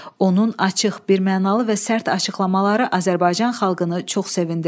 Onun açıq, birmənalı və sərt açıqlamaları Azərbaycan xalqını çox sevindirdi.